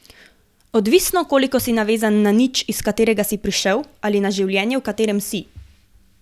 Odvisno, koliko si navezan na nič, iz katerega si prišel, ali na življenje, v katerem si.